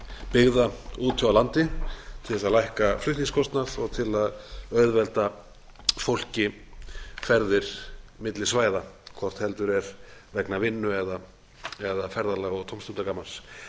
byggða úti á landi til þess að lækka flutningskostnað og til að auðvelda fólki ferðir milli svæða hvort heldur er vegna vinnu eða ferðalaga og